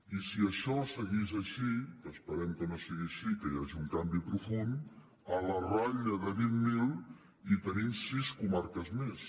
i si això seguís així que esperem que no sigui així que hi hagi un canvi profund a la ratlla de vint mil hi tenim sis comarques més